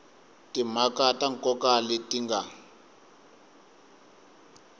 timhaka ta nkoka leti nga